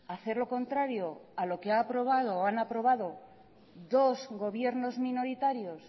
a hacer lo contrario a lo que ha aprobado o han aprobado dos gobiernos minoritarios